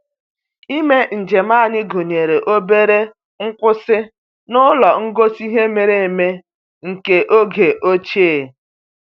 Ime njem anyị gụnyere obere nkwụsị n'ụlọ ngosi ihe mere eme nke oge ochie